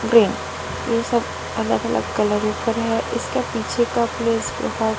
Green ये सब अलग अलग कलर उपर है। इसके पीछे का प्लेस बहोत--